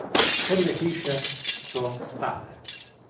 Prve hiše so stale.